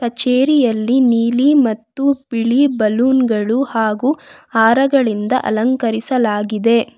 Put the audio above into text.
ಕಚೇರಿಯಲ್ಲಿ ನೀಲಿ ಮತ್ತು ಬಿಳಿ ಬಲೂನ್ ಗಳು ಹಾಗು ಹಾರಗಳಿಂದ ಅಲಂಕರಿಸಲಾಗಿದೆ.